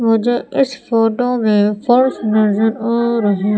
मुझे इस फोटो में फर्श नजर आ रही--